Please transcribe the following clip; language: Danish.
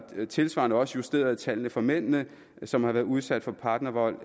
tilsvarende også justeret tallene for mændene som har været udsat for partnervold